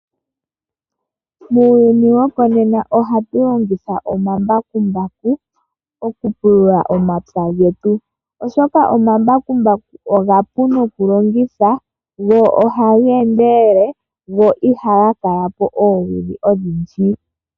Muuyuni wokonena ohatu longitha omambakumbaku opo okupulula omapya getu, oshoka omapu nokulongithwa go ohaga endelele, go ihaga kala po oowili odhindji.